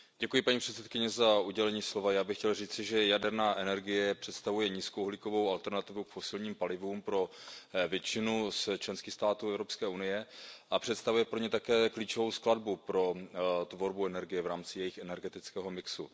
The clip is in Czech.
Paní předsedající, já bych chtěl říci, že jaderná energie přestavuje nízkouhlíkovou alternativu k fosilním palivům pro většinu členských států Evropské unie a představuje pro ně také klíčovou skladbu pro tvorbu energie v rámci jejich energetického mixu.